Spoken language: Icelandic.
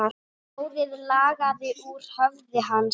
Blóðið lagaði úr höfði hans.